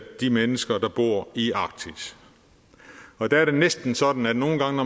de mennesker der bor i arktis og der er det næsten sådan at nogle gange